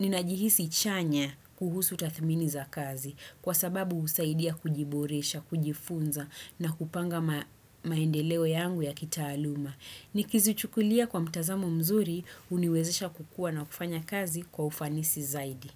ninajihisi chanya kuhusu tatmini za kazi. Kwa sababu usaidia kujiboresha, kujifunza na kupanga maendeleo yangu ya kitaaluma. Nikizichukulia kwa mtazamo mzuri uniwezesha kukua na kufanya kazi kwa ufanisi zaidi.